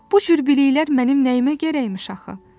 Bu cür biliklər mənim nəyimə gərəkmiş axı?